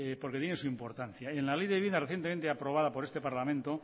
porque tiene su importancia en la ley de vivienda recientemente aprobada por este parlamento